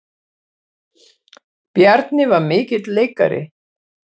Bjarni var mikill leikari.